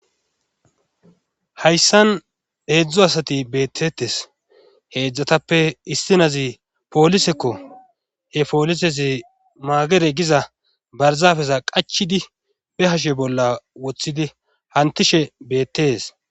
Hayssan heedzdzu asati beettetes heedzdzatappe istinazi poolisekko he poolisesi maagere giza barzafeza qachidi be hashe bolla woththidi hantishe beettees.